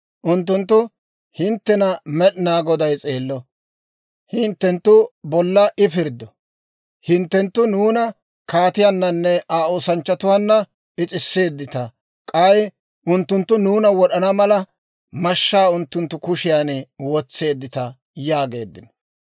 Unttunttu, «Hinttena Med'inaa Goday s'eello! Hinttenttu bolla I pirddo! Hinttenttu nuuna kaatiyaananne Aa oosanchchatuwaan is'isseeddita; k'ay unttunttu nuuna wod'ana mala, mashshaa unttunttu kushiyaan wotseeddita» yaageeddino.